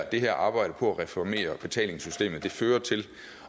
det her arbejde på at reformere betalingssystemet fører til